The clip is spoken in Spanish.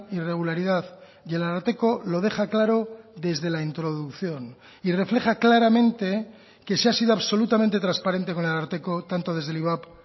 irregularidad y el ararteko lo deja claro desde la introducción y refleja claramente que se ha sido absolutamente transparente con el ararteko tanto desde el ivap